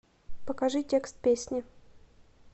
покажи текст песни